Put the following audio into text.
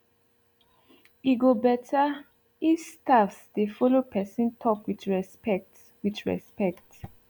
e go betterif staffs dey follow person talk with respect with respect